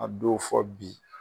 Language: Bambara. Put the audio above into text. A don fɔ bi